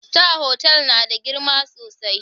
Star Hotel na da girma sosai.